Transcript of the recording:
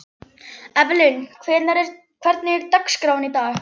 Evelyn, hvernig er dagskráin í dag?